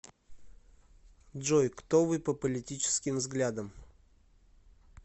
джой кто вы по политическим взглядам